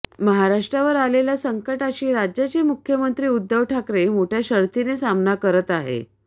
महाराष्ट्रावर आलेल्या या संकटाशी राज्याचे मुख्यमंत्री उद्धव ठाकरे मोठ्या शर्थीने सामना करत आहे